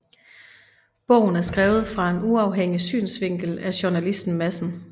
Bogen er skrevet fra en uafhængig synsvinkel af journalisten Madsen